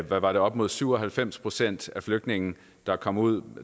fra at op mod syv og halvfems procent af de flygtninge der kom ud